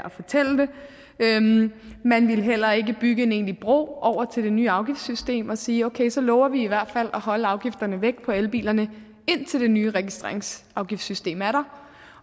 at fortælle det man ville heller ikke bygge en egentlig bro over til det nye afgiftssystem og sige okay så lover vi i hvert fald at holde afgifterne væk på elbilerne indtil det nye registreringsafgiftssystem er der